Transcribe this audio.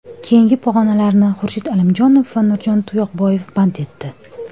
Keyingi pog‘onalarni Xurshid Alimjonov va Nurjon Tuyoqboyev band etdi.